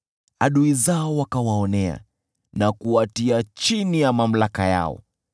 Adui zao wakawaonea na kuwatia chini ya mamlaka yao.